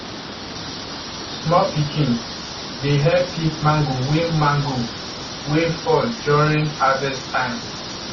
small pikin dey help pick mango wey mango wey fall during harvest time